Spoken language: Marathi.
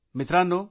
मित्रांनो